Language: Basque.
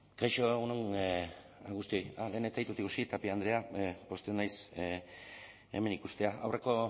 kaixo egun on guztioi lehen ez zaitut ikusi tapia andrea pozten naiz hemen ikustea aurreko